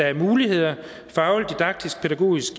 er muligheder